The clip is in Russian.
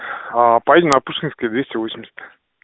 поедем на пушкинская двести восемьдесят